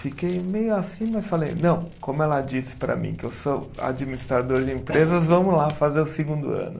Fiquei meio assim, mas falei, não, como ela disse para mim, que eu sou administrador de empresas, vamos lá fazer o segundo ano.